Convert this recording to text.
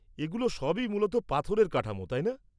-এগুলো সবই মূলত পাথরের কাঠামো, তাই না?